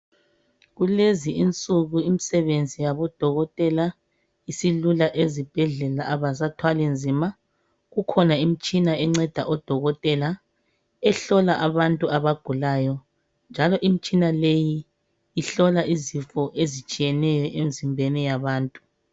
Kulezi insuku imisebenzi yabodokotela isilula ezibhedlela abasathwali nzima. Kukhona imitshina enceda odokotela ehlola abantu abagulayo njalo imitshina leyi ihlola izifo ezitshiyeneyo emzimbeni yabantu.